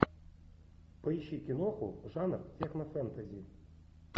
поищи киноху жанр технофэнтези